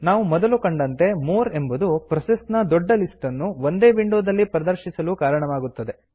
ನಾವು ಮೊದಲು ಕಂಡಂತೆ ಮೋರ್ ಎಂಬುದು ಪ್ರೊಸೆಸ್ ನ ದೊಡ್ಡ ಲಿಸ್ಟ್ ಅನ್ನು ಒಂದೇ ವಿಂಡೋ ದಲ್ಲಿ ಪ್ರದರ್ಶಿಸಲು ಕಾರಣವಾಗುತ್ತದೆ